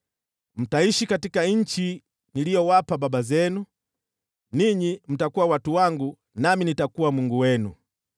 Mtaishi katika nchi niliyowapa baba zenu, ninyi mtakuwa watu wangu nami nitakuwa Mungu wenu.